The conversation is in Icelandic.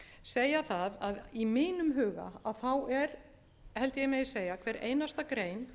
segja það að í mínum huga er held ég að ég megi segja hver einasta grein